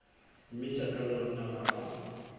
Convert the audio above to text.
mmitša ka lona ga ba